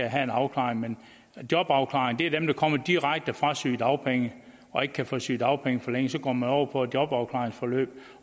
have en afklaring men jobafklaring er for dem der kommer direkte fra sygedagpenge og ikke kan få sygedagpenge forlænget så går man over på et jobafklaringsforløb